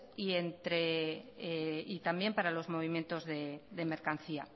y también para los movimientos de mercancía